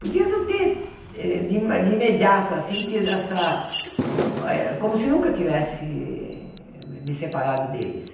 Podia não ter, eh de ime de imediato, assim, tido essa eh... como se nunca tivesse me separado deles.